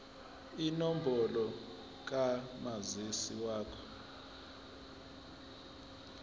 inombolo kamazisi wakho